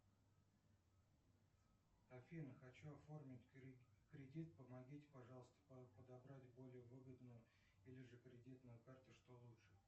афина хочу оформить кредит помогите пожалуйста подобрать более выгодную или же кредитную карту что лучше